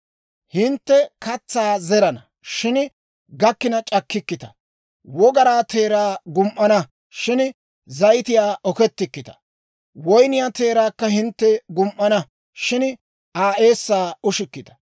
Hintte katsaa zerana, shin gakkina c'akkikkita; wogaraa teeraa gum"ana, shin he zayitiyaa okettikkita; woyniyaa teeraakka hintte gum"ana, shin Aa eessaa ushikkita.